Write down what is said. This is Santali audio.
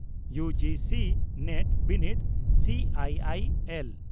ᱭᱩᱹᱡᱤᱹᱥᱤᱹ ᱱᱮᱴ ᱵᱤᱱᱤᱰ ᱥᱤᱹᱟᱭᱤᱹᱟᱭᱤᱹᱮᱞ